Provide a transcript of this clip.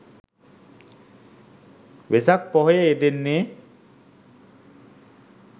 වෙසක් පොහොය යෙදෙන්නේ